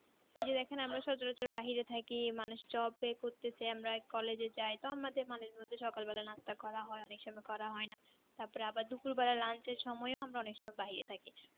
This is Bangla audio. দেখেন আমরা সচর অচর বাইরে থাকি মানুষ Job এ করতেছে আমরা Collage এ যাই তো আমাদের মানের মধ্যে সকাল বেলায় নাস্তা করা হয় অনেক সময় করা হয়না তারপরে আবার দুপুর বেলায় lunch এর সময় ও আমরা অনেক সময় বাইরে থাকি